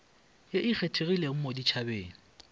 ye e kgethegileng mo ditšhabeng